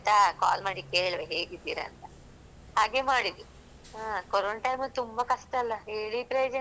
Call ಮಾಡಿ ಕೇಳ್ವಾ ಹೇಗಿದ್ದೀರಾಂತ ಹಾಗೆ ಮಾಡಿದ್ದು. ಹಾ ಕೊರೊನ time ಲ್ಲ್ ತುಂಬಾ ಕಷ್ಟ ಅಲ್ಲ ಹೇಳಿ ಪ್ರಯೋಜನ ಇಲ್ಲ.